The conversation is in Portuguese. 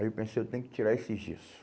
Aí eu pensei, eu tenho que tirar esse gesso.